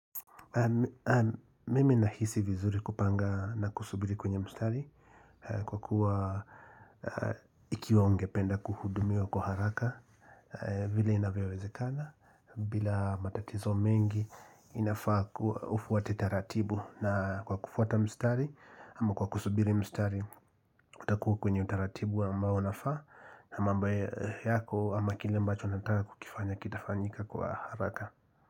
Mimi nahisi vizuri kupanga na kusubiri kwenye mstari kwa kuwa ikiwa ungependa kuhudumiwa kwa haraka vile inavyowezekana bila matatizo mengi inafaa kuwa ufuate taratibu na kwa kufuata mstari ama kwa kusubiri mstari utakuwa kwenye utaratibu ambao unafaa na mambo yako ama kile ambacho nataka kukifanya kitafanyika kwa haraka.